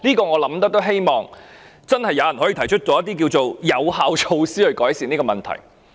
我希望真的有人可以提出一些有效措施，改善這個問題。